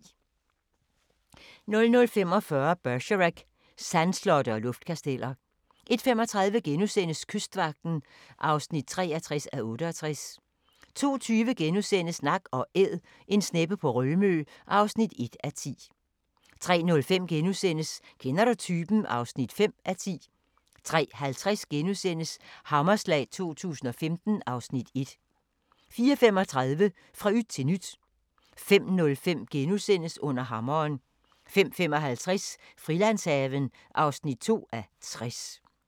00:45: Bergerac: Sandslotte og luftkasteller 01:35: Kystvagten (63:68)* 02:20: Nak & Æd – en sneppe på Rømø (1:10)* 03:05: Kender du typen? (5:10)* 03:50: Hammerslag 2015 (Afs. 1)* 04:35: Fra yt til nyt 05:05: Under hammeren * 05:55: Frilandshaven (2:60)